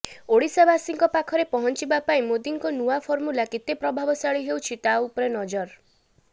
ଓଡ଼ିଶାବାସୀଙ୍କ ପାଖରେ ପହଞ୍ଚିବା ପାଇଁ ମୋଦିଙ୍କ ନୂଆ ଫମୁର୍ଲା କେତେ ପ୍ରଭାବଶାଳୀ ହେଉଛି ତା ଉପରେ ନଜର